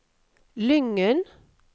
Lyngen